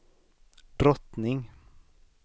drottning